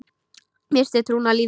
Missti trúna á lífið.